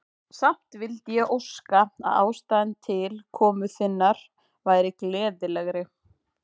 Samt vildi ég óska, að ástæðan til komu þinnar væri gleðilegri.